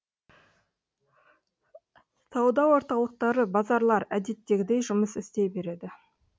сауда орталықтары базарлар әдеттегідей жұмыс істей береді